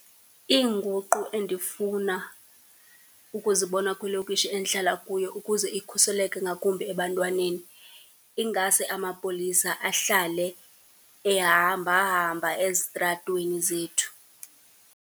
Iinguqu endifuna ukuzibona kwilokishi endihlala kuyo ukuze ikhuseleke ngakumbi ebantwaneni, ingase amapolisa ahlale ehamba-hamba ezitratweni zethu.